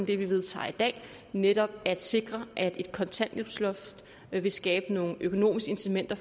det vi vedtager her i dag netop sikrer at et kontanthjælpsloft vil skabe nogle økonomiske incitamenter